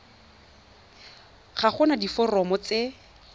ga go na diforomo tse